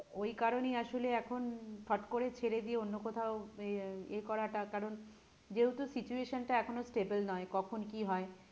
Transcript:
ওই কারণেই আসলে এখন হট করে ছেড়ে দিয়ে অন্য কোথাও আহ এ করাটা কারণ যেহেতু situation টা এখনো stable নই কখন কি হয়?